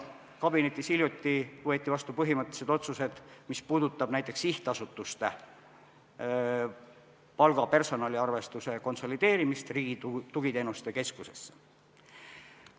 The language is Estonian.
Kabinetis võeti hiljuti vastu põhimõttelised otsused, mis puudutavad näiteks sihtasutuste palga- ja personaliarvestuse konsolideerimist Riigi Tugiteenuste Keskusesse.